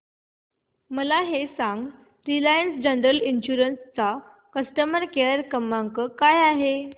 मला हे सांग रिलायन्स जनरल इन्शुरंस चा कस्टमर केअर क्रमांक काय आहे